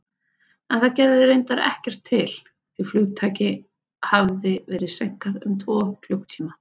En það gerði reyndar ekkert til, því flugtaki hafði verið seinkað um tvo klukkutíma.